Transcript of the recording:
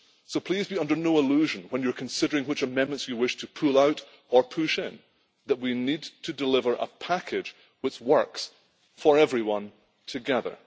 So please be under no illusion, when you are considering which amendments you wish to pull out or push in, that we need to deliver a package that works for everyone together.